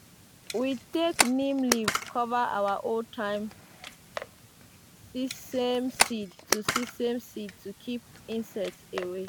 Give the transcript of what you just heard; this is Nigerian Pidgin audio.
we take neem leaves cover our old-time sesame seeds to sesame seeds to keep insects away.